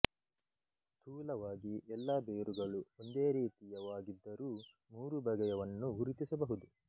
ಸ್ಥೂಲವಾಗಿ ಎಲ್ಲಾ ಬೇರುಗಳು ಒಂದೇ ರೀತಿಯವಾಗಿದ್ದರೂ ಮೂರು ಬಗೆಯವನ್ನು ಗುರುತಿಸಬಹುದು